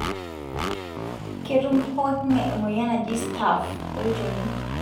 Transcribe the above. ketum pooki ngae emoyian naji staph olchoni.